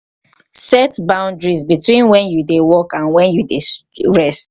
set boundaries beween when you dey work and when you dey rest